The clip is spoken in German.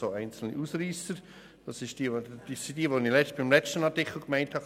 Es gibt einzelne Ausreisser, nämlich diejenigen, die ich beim letzten Artikel gemeint habe.